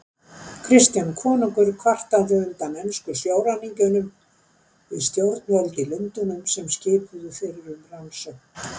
Kristján konungur kvartaði undan ensku sjóræningjunum við stjórnvöld í Lundúnum, sem skipuðu fyrir um rannsókn.